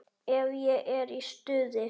Ef ég er í stuði.